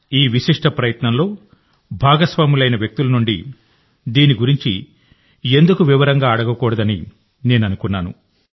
ఈ విశిష్ట ప్రయత్నంలో భాగస్వాములైన వ్యక్తుల నుండి దీని గురించి ఎందుకు వివరంగా అడగకూడదని నేను అనుకున్నాను